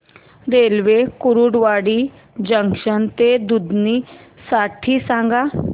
railway Kurduwadi junction ते दुधनी साठी सांगा